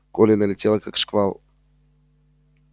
колли налетела как шквал